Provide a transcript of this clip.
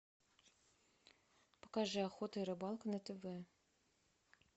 покажи охота и рыбалка на тв